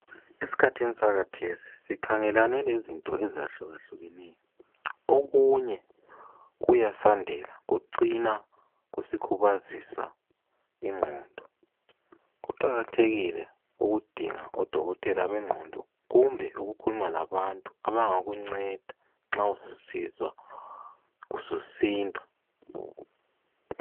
Esikhathini sakhathesi sikhangelane lezinto ezihlukahlukeneyo. Okunye kuyasandela kucina kusikhubazisa ingqondo. Kuqakathekile ukudinga odokotela bengqondo kumbe ukukhuluma labantu abangakunceda nxa ususizwa ususindwa.